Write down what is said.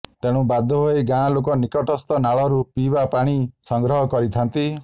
ତେଣୁ ବାଧ୍ୟ ହେଇ ଗାଁ ଲୋକ ନିକଟସ୍ଥ ନାଳରୁ ପିଇବା ପାଣି ସଂଗ୍ରହ କରିଥାନ୍ତି